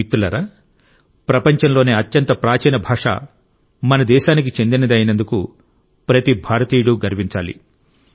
మిత్రులారా ప్రపంచంలోని అత్యంత ప్రాచీన భాష మన దేశానికి చెందినది అయినందుకు ప్రతి భారతీయుడు గర్వించాలి